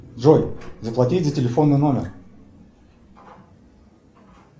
джой заплатить за телефонный номер